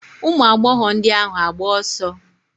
Ụmụagbọghọ ndị ahụ agba ọsọ?